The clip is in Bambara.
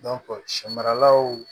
sɛ maralaw